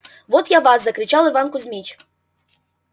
вот я вас закричал иван кузмич